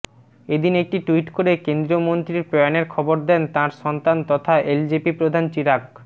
এদিন একটি টুইট করে কেন্দ্রীয় মন্ত্রীর প্রয়াণের খবর দেন তাঁর সন্তান তথা এলজেপি প্রধান চিরাগ